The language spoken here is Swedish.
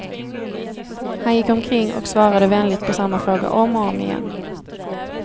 Han gick omkring och svarade vänligt på samma fråga om och om igen.